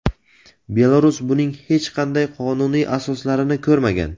Belarus buning hech qanday qonuniy asoslarini ko‘rmagan.